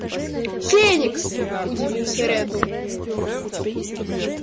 феникс удивился реддл